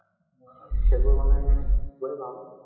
সেইবোৰ মানে খুবেই ভাল